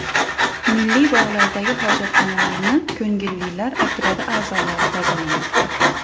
Milliy bog‘lardagi hojatxonalarni ko‘ngillilar otryadi a’zolari tozalamoqda.